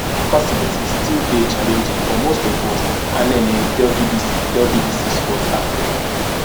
facilities still dey challenging for most of us anene tell bbc tell bbc sport africa